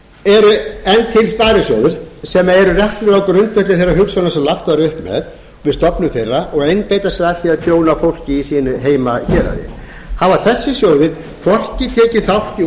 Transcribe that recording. sparisjóðir sem eru reknir á grundvelli þeirrar hugsunar sem lagt var upp með við stofnun þeirra og einbeita sér að því að þjóna fólki í sínu heimahéraði hafa þessir sjóðir hvorki tekið þátt í